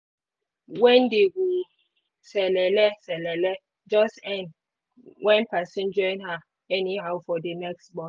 when dey go selele selele just end when person join her anyhow for the next bus.